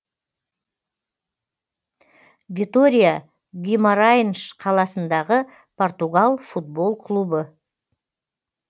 витория гимарайнш қаласындағы португал футбол клубы